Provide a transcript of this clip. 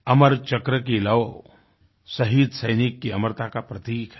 अमर चक्र की लौ शहीद सैनिक की अमरता का प्रतीक है